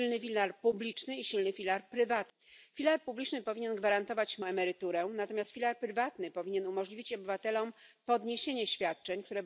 leid, aber ich bekomme immer wieder Zeichen. Ich muss hier noch einmal wiederholen, was ich bereits zweimal gesagt habe, dass es heute nicht möglich ist.